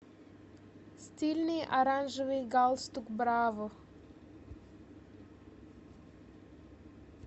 стильный оранжевый галстук браво